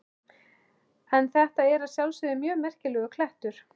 En þetta er að sjálfsögðu mjög merkilegur klettur.